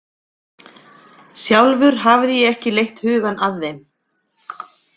Sjálfur hafði ég ekki leitt hugann að þeim.